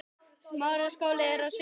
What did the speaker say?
Já, það er á hreinu.